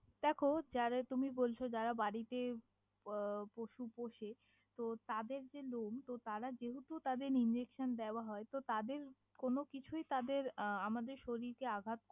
দেখো যা তুমি বলছ যারা বাড়িতে আহ পশু পোষে তহ তাদের যে লম তারা যেহেতু তাদের injection দেওয়া হয় তহ তাদের কোনও কিছুই তাদের আহ আমাদের শরীর কে আঘাত।